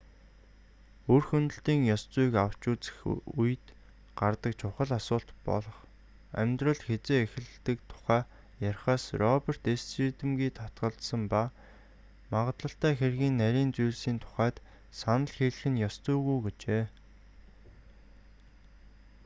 үр хөндөлтийн ёс зүйг авч үзэх үед гардаг чухал асуулт болох амьдрал хэзээ эхэлдэг тухай ярихаас роберт эрс шийдэмгий татгалзсан ба магадлалтай хэргийн нарийн зүйлсийн тухайд санал хэлэх нь ёс зүйгүй гэжээ